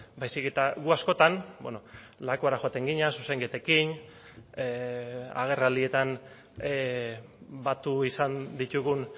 baizik eta gu askotan lakuara joaten ginen zuzenketekin agerraldietan batu izan ditugun